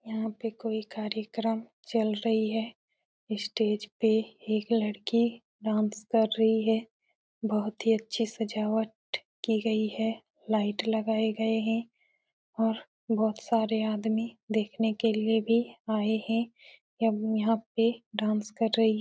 यहाँ पे कोई कार्यक्रम चल रही है। स्टेज पे एक लड़की डांस कर रही है। बहोत ही अच्छी सजावट की गयी है। लाइट लगाये गये हैं और बहुत सारे आदमी देखने के लिए भी आये हैं। अम्म यहाँ पे डांस कर रही --